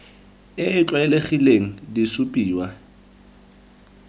e e tlwaelegileng di supiwa